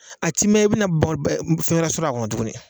A ti mɛn i bɛna fɛn were sɔrɔ a kɔnɔ tugunni.